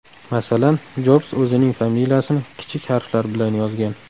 Masalan, Jobs o‘zining familiyasini kichik harflar bilan yozgan.